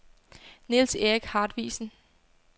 Niels-Erik Hartvigsen